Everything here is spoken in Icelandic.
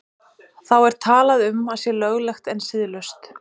Þá er talað um að sé löglegt en siðlaust.